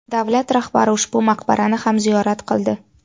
Davlat rahbari ushbu maqbarani ham ziyorat qildi.